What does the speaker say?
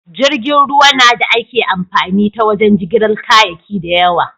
Jirgin ruwa na da ake amfani ta wajen jigilar kayaki da yawa.